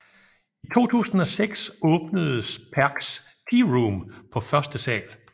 I 2006 åbnedes Perchs Tearoom på første sal